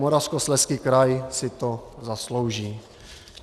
Moravskoslezský kraj si to zaslouží.